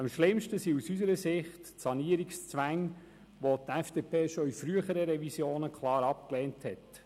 Am schlimmsten sind aus unserer Sicht die Sanierungszwänge, welche die FDP-Fraktion schon in früheren Revisionen klar abgelehnt hat.